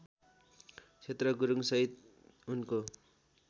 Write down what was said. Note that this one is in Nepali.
क्षेत्र गुरुङसहित उनको